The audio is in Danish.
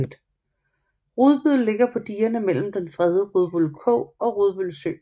Rudbøl ligger på digerne mellem den fredede Rudbøl Kog og Rudbøl Sø